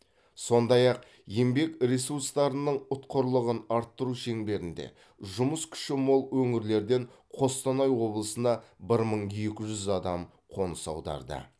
сондай ақ еңбек ресурстарының ұтқырлығын арттыру шеңберінде жұмыс күші мол өңірлерден қостанай облысына бәр мың екі жүз адам қоныс аударды